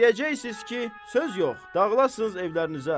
İstəyəcəksiniz ki, söz yox, dağılasınız evlərinizə.